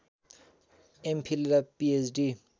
MPhil र PhD